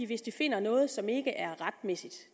hvis de finder noget som ikke er retmæssigt